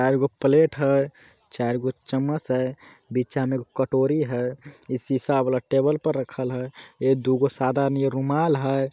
आव ए गो प्लेट है चार गो चम्मच है बिचा मे एक कटोरी है । ई शिशा वाला टेबल पर रखल है ए दुगो सदा नियर रुमाल है।